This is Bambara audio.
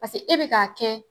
e bɛ k'a kɛ.